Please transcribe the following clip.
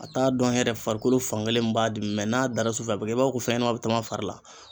A t'a dɔn yɛrɛ farikolo fan kelen min b'a dimi n'a dara su fɛ a bɛ kɛ i b'a fɔ ko fɛnɲɛnɛman bɛ taman fari la.